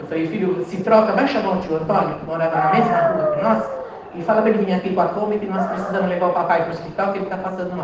Eu falei, filho, se troca, vai chamar o tio Antônio, que morava na mesma rua que nós, e fala para ele vir aqui com a Kombi, que nós precisamos levar o papai para o hospital, que ele está passando mal.